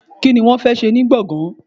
Kí ló fẹ́ ṣe ní gbọ̀ngán?